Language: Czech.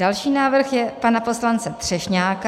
Další návrh je pana poslance Třešňáka.